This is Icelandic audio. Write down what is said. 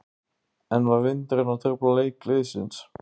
En var vindurinn að trufla leik liðsins?